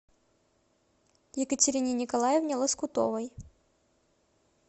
екатерине николаевне лоскутовой